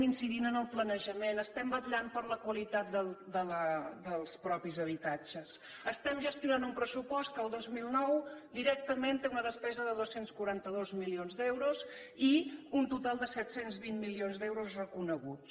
incidim en el planejament vetllem per la qualitat dels mateixos habitatges gestionem un pressupost que en el dos mil nou directament té una despesa de dos cents i quaranta dos milions d’euros i un total set cents i vint milions d’euros reconeguts